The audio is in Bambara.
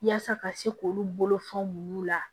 Yaasa ka se k'olu bolofɛnw la